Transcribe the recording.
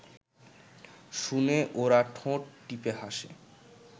শুনে ওরা ঠোঁট টিপে হাসে